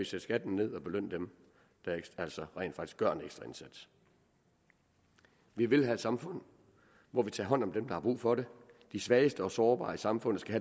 sætte skatten ned og belønne dem der altså rent faktisk gør en ekstra indsats vi vil have et samfund hvor vi tager hånd om dem der har brug for det de svageste og sårbare i samfundet skal